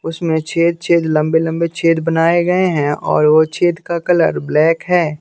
उसमें छेद छेद लम्बे लम्बे छेद बनाये गये है और वो छेद का कलर ब्लैक है।